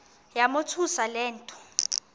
yamothusa le nto